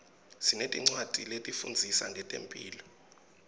sinetincwadzi letifundzisa ngetemphilo